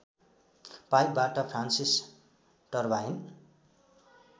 पाइपबाट Francis turbine